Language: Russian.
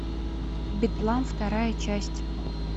бедлам вторая часть